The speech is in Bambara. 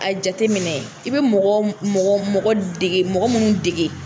A jateminɛ i bɛ mɔgɔ mɔgɔ mɔgɔ dege mɔgɔ minnu dege.